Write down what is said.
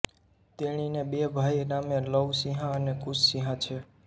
તેણીને બે ભાઈ નામે લવ સિંહા અને કુશ સિંહા છે